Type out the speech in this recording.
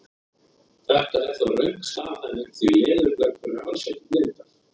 Þetta er þó röng staðhæfing því leðurblökur eru alls ekki blindar!